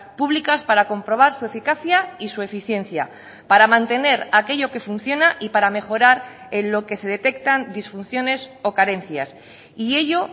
públicas para comprobar su eficacia y su eficiencia para mantener aquello que funciona y para mejorar en lo que se detectan disfunciones o carencias y ello